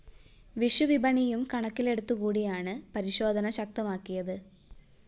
വിഷു വിപണിയും കണക്കിലെടുത്തു കൂടിയാണ് പരിശോധന ശക്തമാക്കിയത്